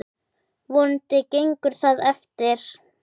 Vonandi gengur það eftir.